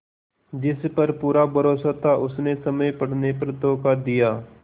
जिस पर पूरा भरोसा था उसने समय पड़ने पर धोखा दिया